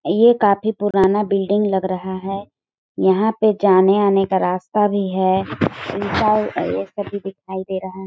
ये काफी पुराना बिल्डिंग लग रहा है यहाँ पे जाने आने का रस्ता भी है यह सब भी दिखाई दे रहा हैं।